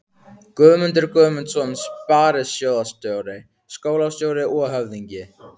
Guðmundur Guðmundsson sparisjóðsstjóri, skólastjóri og höfðingi